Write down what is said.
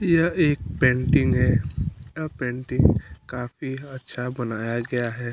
यह एक पेंटिंग है आ पेंटिंग को काफ़ी अच्छा बनाया गया है।